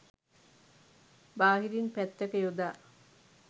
බාහිරින් පැත්තක යොදා